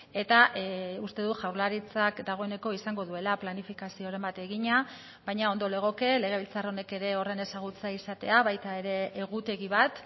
eta uste dut jaurlaritzak dagoeneko izango duela planifikazioren bat egina baina ondo legoke legebiltzar honek ere horren ezagutza izatea baita ere egutegi bat